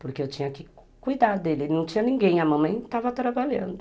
porque eu tinha que cuidar dele, ele não tinha ninguém, a mamãe estava trabalhando.